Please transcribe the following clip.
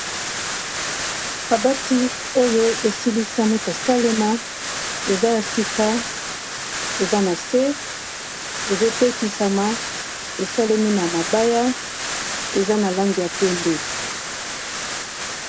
Kabati oyo esilisami kosalema eza ya sika eza na se ezotekisama esalemi na mabaya eza na lange ya pembe.